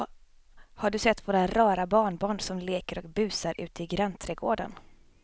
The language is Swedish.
Har du sett våra rara barnbarn som leker och busar ute i grannträdgården!